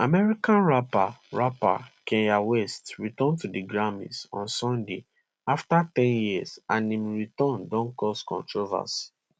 american rapper rapper kanye west return to di grammys on sunday after ten years and im return don cause controversy